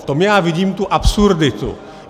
V tom já vidím tu absurditu.